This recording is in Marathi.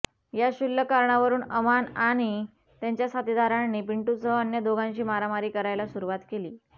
या क्षुल्लक कारणावरून अमान आणि त्याच्या साथीदारांनी पिंटूसह अन्य दोघांशी मारामारी करायला सुरुवात केली